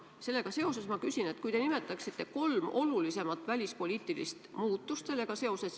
Sellega seoses ma palun teil nimetada kolm olulisimat välispoliitilist muutust sellega seoses.